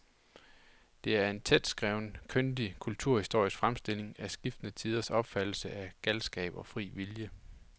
Det er en tætskrevet, kyndig kulturhistorisk fremstilling af skiftende tiders opfattelse af galskab og fri vilje.